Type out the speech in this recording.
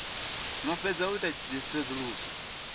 no fhedza u ita tsedzuluso